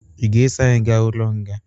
Ị ga-eso anyi ga ụlo nga?